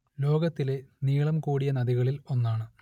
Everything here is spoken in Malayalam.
ലോകത്തിലെ നീളം കൂടിയ നദികളിൽ ഒന്നാണ്